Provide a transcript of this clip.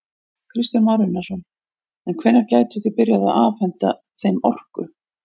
Kristján Már Unnarsson: En hvenær gætuð þið byrjað að afhenta þeim orku?